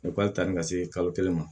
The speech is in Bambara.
tan ni ka se kalo kelen ma